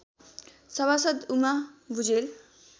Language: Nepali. सभासद् उमा भुजेल